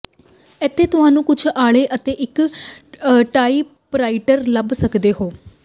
ਇੱਥੇ ਤੁਹਾਨੂੰ ਕੁਝ ਆਲ੍ਹਣੇ ਅਤੇ ਇੱਕ ਟਾਈਪਰਾਈਟਰ ਲੱਭ ਸਕਦੇ ਹੋ